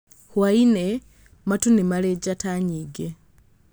Hwaĩ-inĩ, matu nĩ marĩ njata nyingĩ.